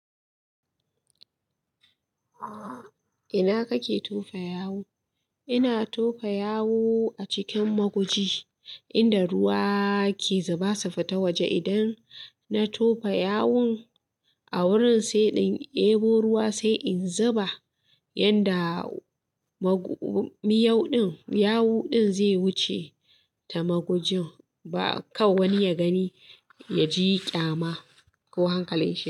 Ina kake tofa yawu? Ina tofa yawu acikin ma guji inda ruwa ke zuba su fita waje. Idan na tofa yawun a wurin sai in, ebo ruwa sai in zuba yanda miyau ɗin, yawu ɗin zai wuce ta magujin ba kan wani ya gani ya ji ƙyama ko hankali.